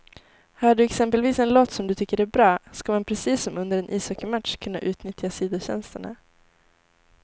Hör du exempelvis en låt som du tycker är bra, ska man precis som under en ishockeymatch kunna utnyttja sidotjänsterna.